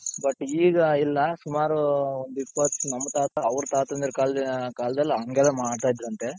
but ಈಗ ಇಲ್ಲ ಸುಮಾರು ಒಂದ್ ಇಪ್ಪತ್ ನಮ್ ತಾತ ಅವ್ರ್ ತಾತoದಿರ ಕಾಲ್ದಲ್ಲಿ ಹಂಗೆಲ್ಲ ಮಾಡ್ತಾ ಇದ್ರಂತೆ.